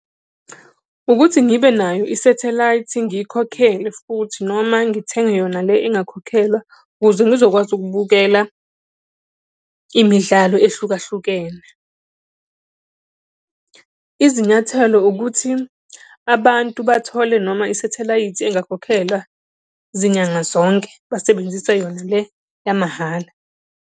Ukuthi ngibe nayo isathelayithi ngiyikhokhele futhi noma ngithenge yona le engakhokhelwa, ukuze ngizokwazi ukubukela imidlalo ehlukahlukene. Izinyathelo ukuthi, abantu bathole noma isathelayithi engakhokhelwa zinyanga zonke, basebenzise yona le yamahhala.